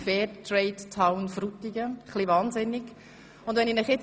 «Fair Trade Town Frutigen» – ist das nicht verrückt?